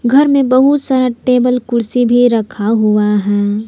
घर में बहुत सारा टेबल कुर्सी भी रखा हुआ है।